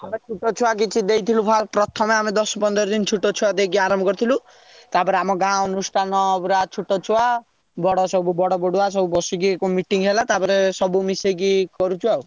ଆମେ ଛୋଟ ଛୁଆ କିଛି ଦେଇଥିଲୁ ପ୍ରଥମେ ଆମେ ଦଶ ପନ୍ଦର ଦିନ ଛୋଟ ଛୁଆ ଦେଇକି ଆରମ୍ଭ କରିଥିଲୁ ତାପରେ ଆମ ଗାଁ ଅନୁଷ୍ଟାନ ପୁରା ଛୋଟ ଛୁଆ ବଡ ସବୁ ବଡ ବଡୁଆ ସବୁ ବସିକି meeting ହେଲା ତାପରେ ସବୁ ମିଶେଇକି କରୁଛୁ ଆଉ।